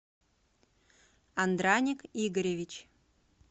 андраник игоревич